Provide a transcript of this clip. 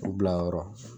U bilayɔrɔ